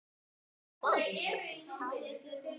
Og fólk!